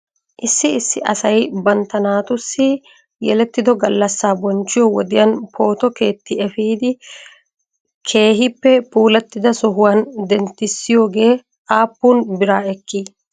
Issi issi asay bantta naatussi yelettido gallassaa bonchchiyoo wodiyan pooto keeti efidi keehippe puulattida sohuwan denttissiyoogee aappun biraa ekkii ?